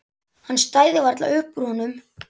Hann stæði varla upp úr honum.